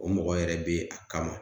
O mɔgɔ yɛrɛ be a kama